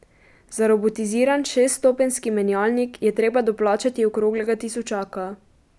Za robotiziran šeststopenjski menjalnik je treba doplačati okroglega tisočaka.